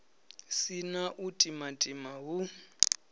si na u timatima hu